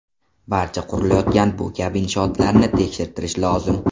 Barcha qurilayotgan bu kabi inshootlarni tekshirtirishi lozim.